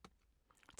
TV 2